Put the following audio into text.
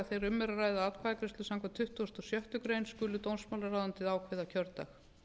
er að ræða atkvæðagreiðslu samkvæmt tuttugustu og sjöttu grein skuli dómsmálaráðuneytið ákveða kjördag